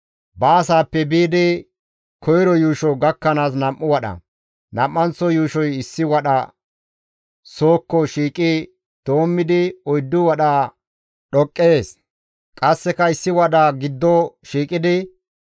baasaappe biidi koyro yuusho gakkanaas nam7u wadha; nam7anththo yuushoy issi wadha sookko shiiqi doommidi oyddu wadha dhoqqees; qasseka issi wadha giddo shiiqidi,